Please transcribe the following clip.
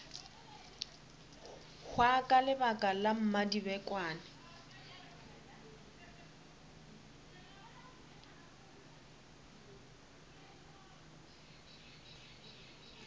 hwa ka lebaka la mmadibekwane